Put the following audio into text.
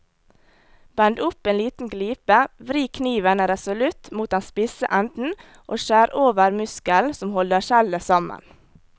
Bend opp en liten glipe, vri kniven resolutt mot den spisse enden og skjær over muskelen som holder skjellet sammen.